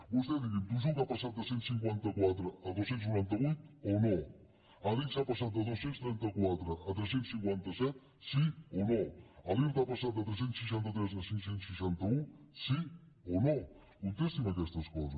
vostè digui’m tujuca ha passat de cent i cinquanta quatre a dos cents i noranta vuit o no adigsa ha passat de dos cents i trenta quatre a tres cents i cinquanta set sí o no l’irta ha passat de tres cents i seixanta tres a cinc cents i seixanta un sí o no contesti’m aquestes coses